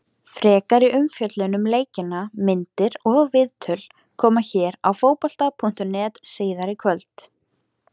Frekari umfjöllun um leikina, myndir og viðtöl, koma hér á Fótbolta.net síðar í kvöld.